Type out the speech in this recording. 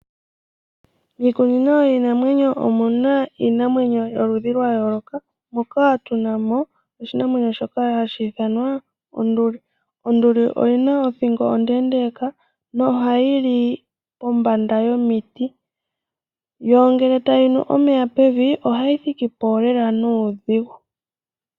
Iikunino yiinamwenyo omuna iinamwenyo yoludhi yayooloka moka tunamo oshinamwenyo shoka hashi ithanwa onduli. Onduli oyina othingo ondendeka yo ohayi li pombanda yomiti yo ngele tayi nu omeya pevi ohayi thikipo nuudhigu.